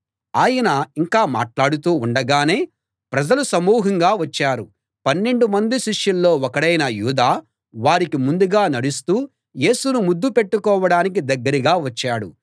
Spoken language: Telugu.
ఆయన ఇంకా మాట్లాడుతూ ఉండగానే ప్రజలు సమూహంగా వచ్చారు పన్నెండు మంది శిష్యుల్లో ఒకడైన యూదా వారికి ముందుగా నడుస్తూ యేసును ముద్దు పెట్టుకోడానికి దగ్గరగా వచ్చాడు